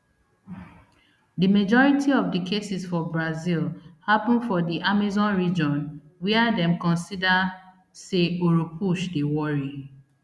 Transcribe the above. di majority of of di cases for brazil happun for di amazon region wia dem consider say oropouche dey worry